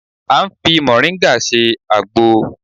A ń fi mọ̀ríngà ṣe àgbo